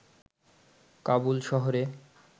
কাবুল শহরে